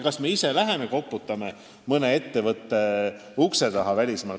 Kas me ise läheme välismaale mõne ettevõtte ukse taha koputama?